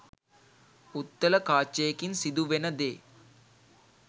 උත්තල කාචයකින් සිදුවෙනදේ